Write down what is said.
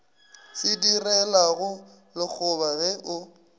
se direlago lekgoba ge o